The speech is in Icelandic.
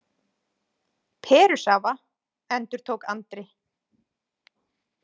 Perusafa, endurtók Andri.